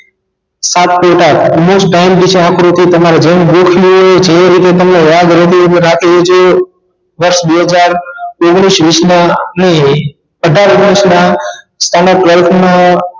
સાત point આઠ વિષે આકૃતિ તમારે જેમ ગોખવી હોય જે રીતે તમને યાદ રેતી હોય એ રીતે રાખી લેજો વર્ષ બે હજાર ઓગનીશ વિશ ના નહિ નહિ અઠાર ઓગનીશ ના standard twelfth નું